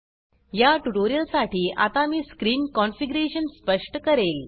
या ट्यूटोरियल साठी आता मी स्क्रीन कन्फिग्यरेशन स्पष्ट करेल